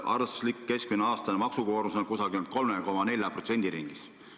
Arvestuslik keskmine aastane maksukoormus on 3–4% ringis.